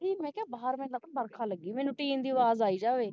ਨੀ ਮੈਂ ਕਿਹਾ ਮੈਨੂੰ ਬਾਹਰ ਲਗਦਾ ਬਰਖਾ ਲਗੀ ਮੈਨੂੰ ਟੀਨ ਦੀ ਅਵਾਜ ਆਈ ਜਾਵੇ